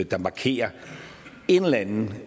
der markerer en eller anden